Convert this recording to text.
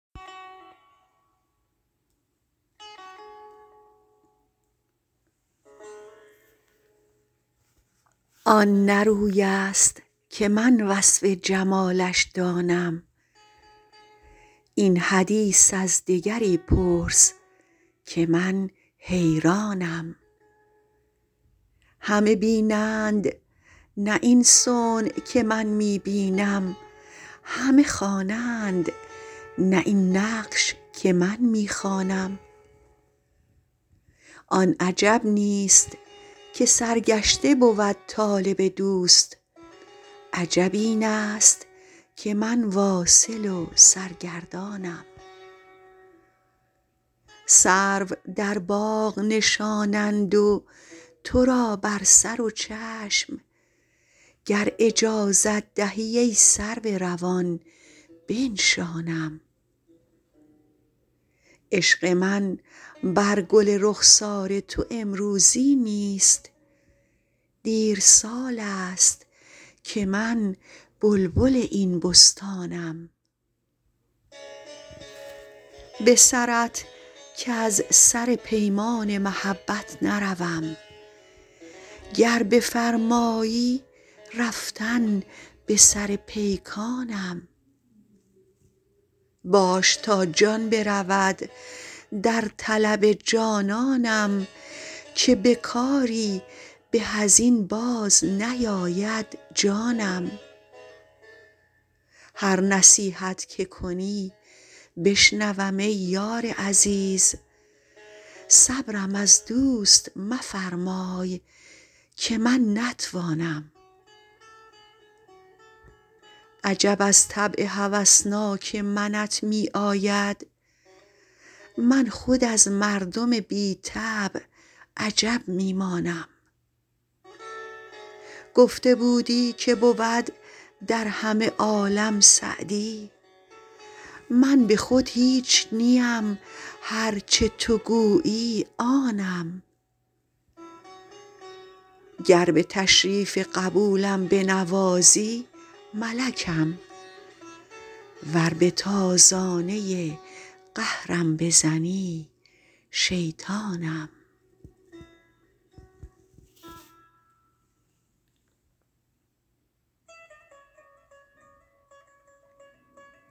آن نه روی است که من وصف جمالش دانم این حدیث از دگری پرس که من حیرانم همه بینند نه این صنع که من می بینم همه خوانند نه این نقش که من می خوانم آن عجب نیست که سرگشته بود طالب دوست عجب این است که من واصل و سرگردانم سرو در باغ نشانند و تو را بر سر و چشم گر اجازت دهی ای سرو روان بنشانم عشق من بر گل رخسار تو امروزی نیست دیر سال است که من بلبل این بستانم به سرت کز سر پیمان محبت نروم گر بفرمایی رفتن به سر پیکانم باش تا جان برود در طلب جانانم که به کاری به از این باز نیاید جانم هر نصیحت که کنی بشنوم ای یار عزیز صبرم از دوست مفرمای که من نتوانم عجب از طبع هوسناک منت می آید من خود از مردم بی طبع عجب می مانم گفته بودی که بود در همه عالم سعدی من به خود هیچ نیم هر چه تو گویی آنم گر به تشریف قبولم بنوازی ملکم ور به تازانه قهرم بزنی شیطانم